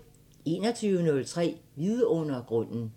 21:03: Vidundergrunden